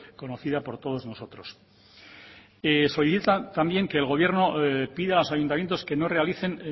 conocida por todos nosotros solicitan también que el gobierno pida a los ayuntamientos que no realicen